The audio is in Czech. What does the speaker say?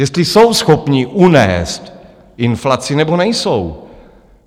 Jestli jsou schopni unést inflaci, nebo nejsou.